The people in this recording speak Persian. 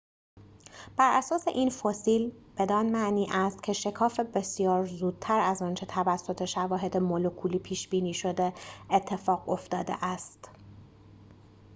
براساس این فسیل بدان معنی است که شکاف بسیار زودتر از آنچه توسط شواهد مولکولی پیش‌بینی شده اتفاق افتاده است